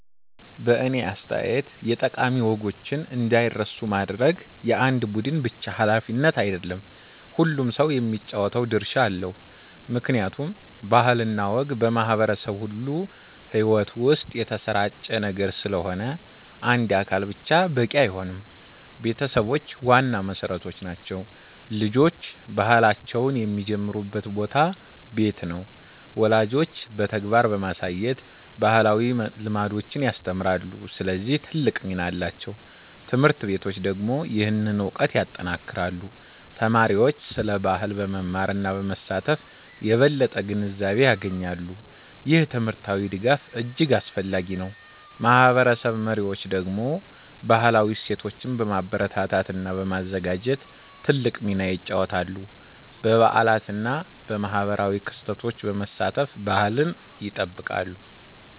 በእኔ አስተያየት የጠቃሚ ወጎችን እንዳይረሱ ማድረግ የአንድ ቡድን ብቻ ሃላፊነት አይደለም፤ ሁሉም ሰው የሚጫወተው ድርሻ አለው። ምክንያቱም ባህል እና ወግ በማህበረሰብ ሁሉ ሕይወት ውስጥ የተሰራጨ ነገር ስለሆነ አንድ አካል ብቻ በቂ አይሆንም። ቤተሰቦች ዋና መሠረት ናቸው። ልጆች ባህላቸውን የሚጀምሩበት ቦታ ቤት ነው። ወላጆች በተግባር በማሳየት ባህላዊ ልምዶችን ያስተምራሉ፣ ስለዚህ ትልቅ ሚና አላቸው። ት/ቤቶች ደግሞ ይህንን እውቀት ያጠናክራሉ። ተማሪዎች ስለ ባህል በመማር እና በመሳተፍ የበለጠ ግንዛቤ ያገኛሉ። ይህ ትምህርታዊ ድጋፍ እጅግ አስፈላጊ ነው። ማህበረሰብ መሪዎች ደግሞ ባህላዊ እሴቶችን በማበረታታት እና በማዘጋጀት ትልቅ ሚና ይጫወታሉ። በበዓላት እና በማህበራዊ ክስተቶች በመሳተፍ ባህልን ይጠብቃሉ።